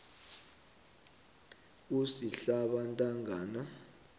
kusihlabantangana